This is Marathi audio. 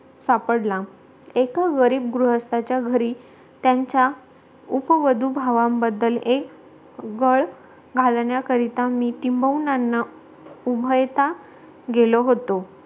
सापडला एका गरीब गृहस्थाच्याघरी त्यांचा उपवदु भावांबद्दल एक गळ घालण्याकरिता मी टिम्बवुनांकडे उभायता गेलो होतो